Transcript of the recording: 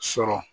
Sɔrɔ